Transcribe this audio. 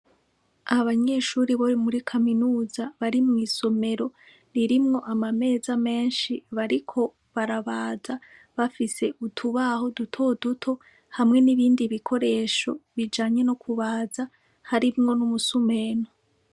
Abanyeshure bo muri kaminuza bari mw'isomero ririmwo amameza menshi bariko barabaza bafise urubaho dutoduto hamwe n'ibindi bikoresho bijanye nokubaza harimwo n'umusumeno.